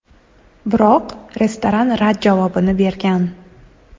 Biroq restoran rad javobini bergan.